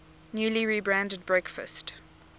newly rebranded breakfast